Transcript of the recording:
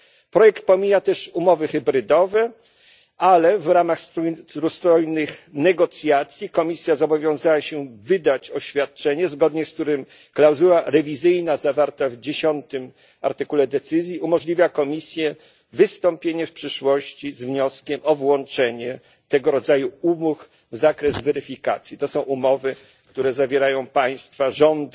Projekt pomija też umowy hybrydowe, ale w ramach trójstronnych negocjacji Komisja zobowiązała się wydać oświadczenie, zgodnie z którym klauzula rewizyjna zawarta w artykule 10 decyzji umożliwia Komisji wystąpienie w przyszłości z wnioskiem o włączenie tego rodzaju umów w zakres weryfikacji. To są umowy, które zawierają państwa, rządy